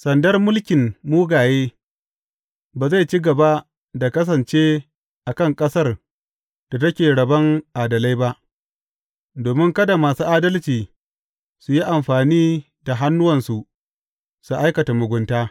Sandar mulkin mugaye ba zai ci gaba da kasance a kan ƙasar da take rabon adalai ba, domin kada masu adalci su yi amfani da hannuwansu su aikata mugunta.